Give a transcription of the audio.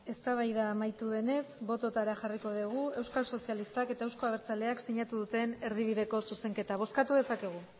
eztabaida amaitu denez botoetara jarriko dugu euskal sozialistak eta eusko abertzaleak sinatu duten erdibideko zuzenketa bozkatu dezakegu